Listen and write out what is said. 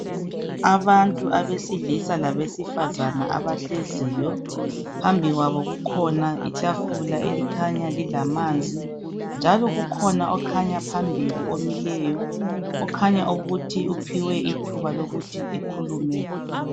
Abantu abesilisa labesifazana abahleziyo phambi kwabo kukhona itafula elikhanya lilamanzi njalo ukhona okhanya phambili omileyo, okhanya ukuthi uphiwe ithuba lokuthi ekhulume.